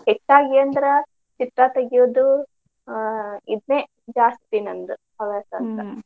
ಅಂದ್ರ್ ಚಿತ್ರಾ ತಗಿಯೋದು ಆ ಇದೆ ಜಾಸ್ತಿ ನಂದ್ ಹವ್ಯಾಸ .